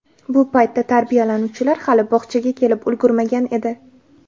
Bu paytda tarbiyalanuvchilar hali bog‘chaga kelib ulgurmagan edi.